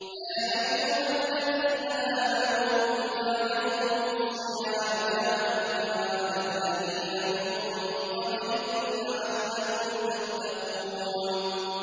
يَا أَيُّهَا الَّذِينَ آمَنُوا كُتِبَ عَلَيْكُمُ الصِّيَامُ كَمَا كُتِبَ عَلَى الَّذِينَ مِن قَبْلِكُمْ لَعَلَّكُمْ تَتَّقُونَ